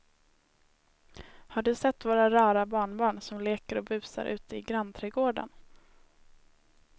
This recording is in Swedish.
Har du sett våra rara barnbarn som leker och busar ute i grannträdgården!